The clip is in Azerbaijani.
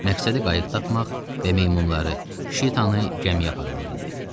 Məqsədi qayıq tapmaq və meymunları, Şitanı gəmiyə aparmaq idi.